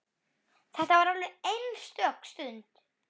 Þetta var alveg einstök stund.